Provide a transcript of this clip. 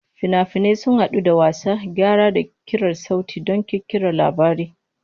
Fina-finai sun haɗu da wasa, gyara, da ƙirar sauti don ƙirƙirar labari.